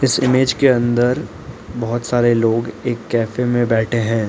इस इमेज के अंदर बहोत सारे लोग एक कैफे में बैठे हैं।